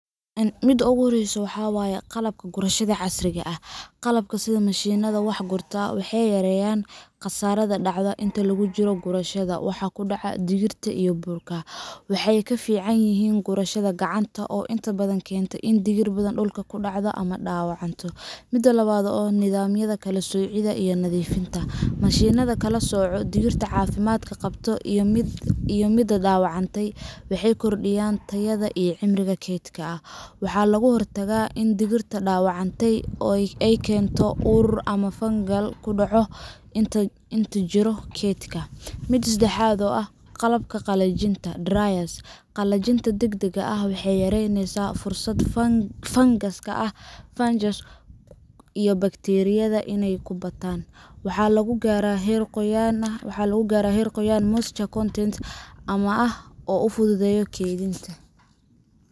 Mida ogu horeyso waxa waye. Qalabka gurashada casriga ah Qalabka sida mashiinnada wax gurta waxay yareeyaan khasaaraha dhaca inta lagu jiro gurashada wax ku dhaca digirta, burburka, iwm. Waxay ka fiican yihiin gurashada gacanta oo inta badan keenta in digir badan dhulka ku dhacdo ama dhaawacmo. Mida labad. Nidaamyada kala soocidda iyo nadiifinta Mashiinnada kala sooca digirta caafimaadka qabta iyo midda dhaawacantay waxay kordhiyaan tayada iyo cimriga keydka. Waxaa laga hortagaa in digirta dhaawacantay ay keento ur ama fungal ku dhaca inta lagu jiro keydinta. Mida sedexad oo ah. Qalabka qalajinta dryers Qalajinta degdegga ah waxay yareysaa fursadda fangaska fungus iyo bakteeriyada inay ku bataan digirta qoyan. Waxaa lagu gaaraa heer qoyaan moisture content ammaan ah oo u fududeynaya kaydinta.